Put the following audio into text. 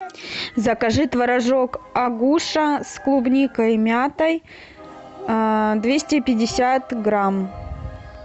закажи творожок агуша с клубникой и мятой двести пятьдесят грамм